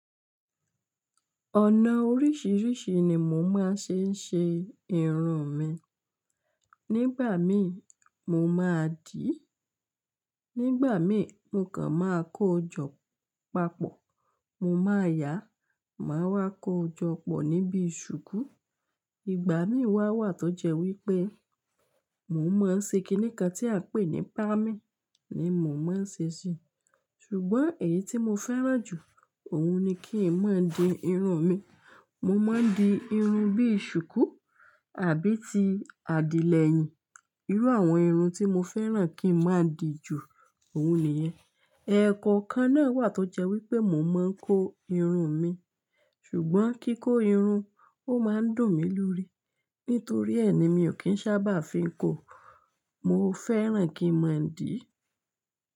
Ọ̀nà oríṣiríṣi ni mò máa ń ṣe ṣe irún mi. Nígbà mí mo máa dì í, nígbà mí mo kàn máa kó jọ papọ̀, mo máa yà, màá wá kó jọ pọ̀ níbi ṣùkú. Ìgbà mí wá wà tó jẹ́ wípé mò ń mọ ṣe kiní kan tí à ń pè ní pamí ni mò ń ṣe sí. Ṣùgbọ́n èyí tí mo fẹ́ràn jù, òun ni kí n máa di irun mi. Mo máa ń di irun bí i ṣùkú àbí ti àdìlẹ̀yìn. Irú àwọn irun tí mo fẹ́ràn kí n máa di jù, òun nìyẹn. Ẹ̀ẹ̀kọ̀ kan náà wà tó jẹ́ wípé mò ń maa kó irun mi. Ṣùgbọ́n kíkó irun ó máa ń dùn mí lórí. Nítorí ẹ́ ni mi ò kín sábà fi ń kó. Mo fẹ́ràn kí n máa dì í.